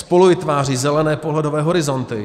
Spoluvytváří zelené pohledové horizonty.